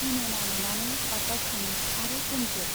दिनेना नुनानै बाग्दावखाङो आरो गोमजोर